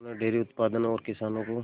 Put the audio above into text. उन्होंने डेयरी उत्पादन और किसानों को